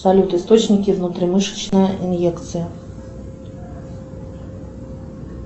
салют источники внутримышечной иньекции